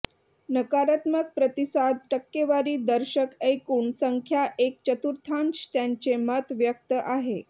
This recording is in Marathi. नकारात्मक प्रतिसाद टक्केवारी दर्शक एकूण संख्या एक चतुर्थांश त्यांचे मत व्यक्त आहे